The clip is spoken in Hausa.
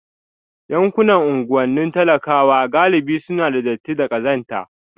Yankunan unguwannin talakawa galibi suna da datti da ƙazanta